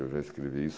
Eu já escrevi isso.